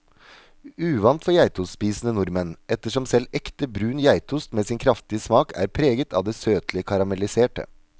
Uvant for geitostspisende nordmenn, ettersom selv ekte brun geitost med sin kraftige smak er preget av det søtlige karamelliserte.